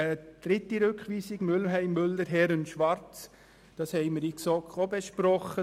Zum dritten Rückweisungsantrag Mühlheim/Müller/Herren/ Schwarz: Auch diesen haben wir in der GSoK besprochen.